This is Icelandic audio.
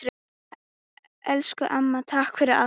Elsku amma, takk fyrir allt!